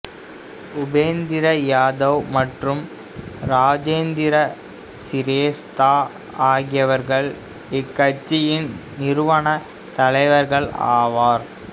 உபேந்திர யாதவ் மற்றும் இராஜேந்திர சிரேஸ்தா ஆகியவர்கள் இக்கட்சியின் நிறுவனத் தலைவர்கள் ஆவார்